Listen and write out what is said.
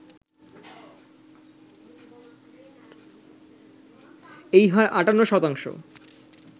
এই হার ৫৮%